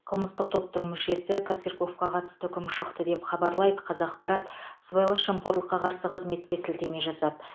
қылмыстық топтың мүшесі косырьковқа қатысты үкім шықты деп хабарлайды қазақпарат сыбайлас жемқорлыққа қарсы қызметке сілтеме жасап